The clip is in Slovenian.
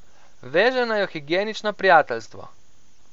Veže naju higienično prijateljstvo.